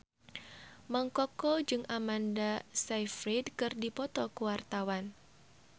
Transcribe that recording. Mang Koko jeung Amanda Sayfried keur dipoto ku wartawan